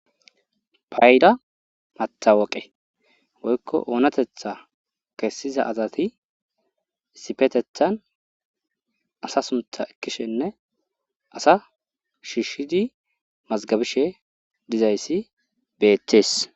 payda matawoqe woykko oonatetha kessiza asati issipetethan asa suntha ekkishenne asa shiishshidi mazgabishe dizayssi beettees